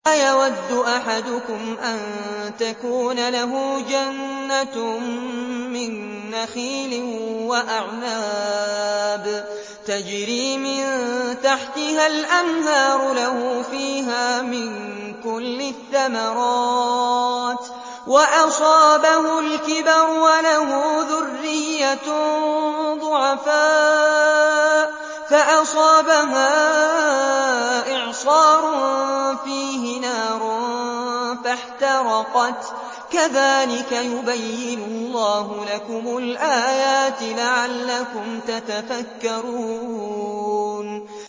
أَيَوَدُّ أَحَدُكُمْ أَن تَكُونَ لَهُ جَنَّةٌ مِّن نَّخِيلٍ وَأَعْنَابٍ تَجْرِي مِن تَحْتِهَا الْأَنْهَارُ لَهُ فِيهَا مِن كُلِّ الثَّمَرَاتِ وَأَصَابَهُ الْكِبَرُ وَلَهُ ذُرِّيَّةٌ ضُعَفَاءُ فَأَصَابَهَا إِعْصَارٌ فِيهِ نَارٌ فَاحْتَرَقَتْ ۗ كَذَٰلِكَ يُبَيِّنُ اللَّهُ لَكُمُ الْآيَاتِ لَعَلَّكُمْ تَتَفَكَّرُونَ